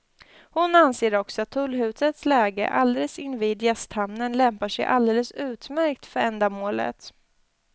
Hon anser också att tullhusets läge alldeles invid gästhamnen lämpar sig alldeles utmärkt för ändamålet.